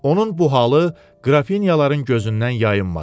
Onun bu halı qrafinyaların gözündən yayınmadı.